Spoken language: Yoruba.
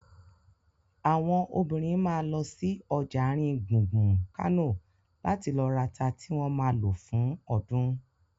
Àwọn obìnrin ma lọ sí ọjà àrin gbùngbùn Kánò láti lọ rata tí wọ́n ma lò fún ọdún